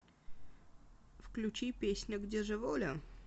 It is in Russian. включи песня где же воля